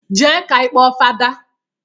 Jee ka ị kpọọ fada!